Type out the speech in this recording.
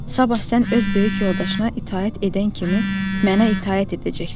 Sabah sən öz böyük yoldaşına itaət edən kimi mənə itaət edəcəksən.